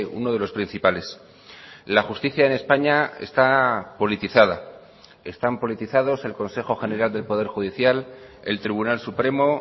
uno de los principales la justicia en españa está politizada están politizados el consejo general del poder judicial el tribunal supremo